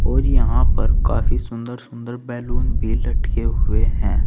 और यहां पर काफी सुंदर सुंदर बैलून भी लटके हुए हैं।